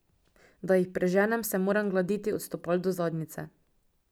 Da jih preženem, se moram gladiti od stopal do zadnjice.